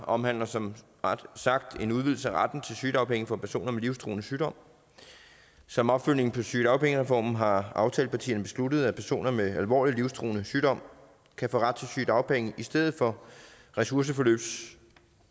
omhandler som sagt en udvidelse af retten til sygedagpenge for personer med livstruende sygdom som opfølgning på sygedagpengereformen har aftalepartierne besluttet at personer med alvorlig livstruende sygdom kan få ret til sygedagpenge i stedet for ressourceforløbsydelse